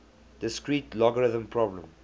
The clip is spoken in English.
discrete logarithm problem